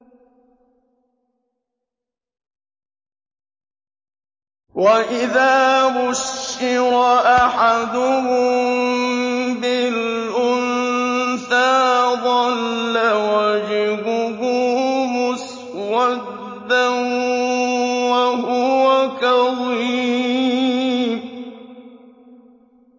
وَإِذَا بُشِّرَ أَحَدُهُم بِالْأُنثَىٰ ظَلَّ وَجْهُهُ مُسْوَدًّا وَهُوَ كَظِيمٌ